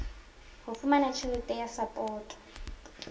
ho fumana tjhelete ya sapoto